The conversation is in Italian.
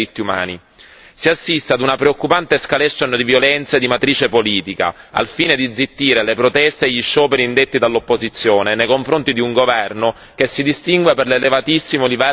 Si assiste ad una preoccupante escalation di violenza di matrice politica, al fine di zittire le proteste e gli scioperi indetti dall'opposizione nei confronti di un governo che si distingue per l'elevatissimo livello di corruzione.